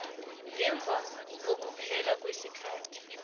ngemva kokuphela kwesikhathi